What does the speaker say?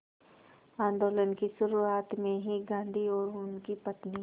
आंदोलन की शुरुआत में ही गांधी और उनकी पत्नी